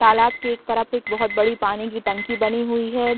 तालाब के एक तरफ एक बहुत बड़ी पानी की टंकी बनी हुई है ।